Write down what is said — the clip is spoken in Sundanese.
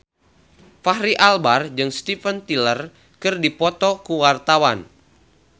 Fachri Albar jeung Steven Tyler keur dipoto ku wartawan